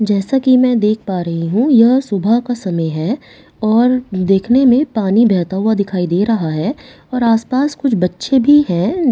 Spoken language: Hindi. जैसा कि मैं देख पा रही हूं यह सुबह का समय है और देखने में पानी बहता हुआ दिखाई दे रहा है और आस पास कुछ बच्चे भी है।